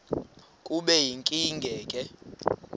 kube yinkinge ke